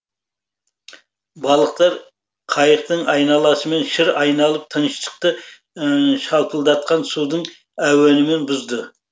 балықтар қайықтың айналасымен шыр айналып тыныштықты шалпылдатқан судың әуенімен бұзды